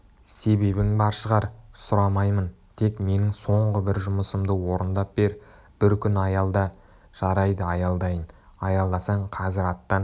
себебің бар шығар сұрамаймын тек менің соңғы бір жұмысымды орындап бер бір күн аялда жарайды аялдайын аялдасаң қазір аттан